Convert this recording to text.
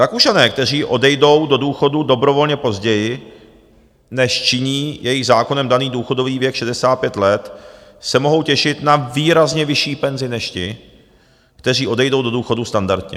Rakušané, kteří odejdou do důchodu dobrovolně později, než činí jejich zákonem daný důchodový věk 65 let, se mohou těšit na výrazně vyšší penzi než ti, kteří odejdou do důchodu standardně.